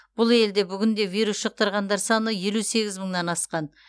бұл елде бүгінде вирус жұқтырғандар саны елу сегіз мыңнан асқан